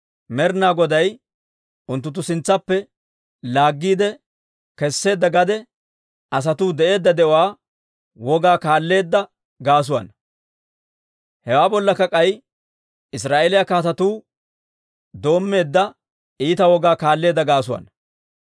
Med'ina Goday unttunttu sintsaappe laaggiide kesseedda gade asatuu de'eedda de'uwaa wogaa kaalleedda gaasuwaana. Hewaa bollakka k'ay Israa'eeliyaa kaatetuu doommeedda iita wogaa kaalleedda gaasuwaana.